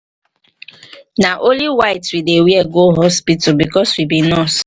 nah only white we dey wear go hospital because we be nurse